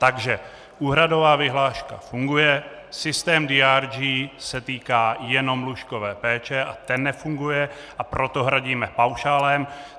Takže úhradová vyhláška funguje, systém DRG se týká jenom lůžkové péče a ten nefunguje, a proto hradíme paušálem.